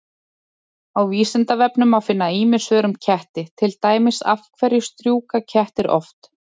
Á Vísindavefnum má finna ýmis svör um ketti, til dæmis: Af hverju strjúka kettir oft?